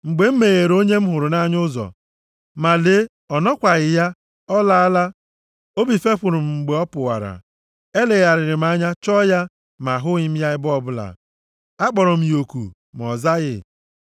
Mgbe m megheere onye m hụrụ nʼanya ụzọ, ma lee, ọ nọkwaghị ya, ọ laala. Obi fepụrụ m mgbe ọ pụwara. Elegharịrị m anya chọọ ya ma ahụghị m ya ebe ọbụla. Akpọrọ m ya oku ma ọ zaghị.